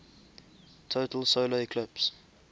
total solar eclipse